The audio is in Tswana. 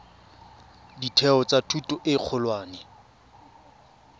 ditheo tsa thuto e kgolwane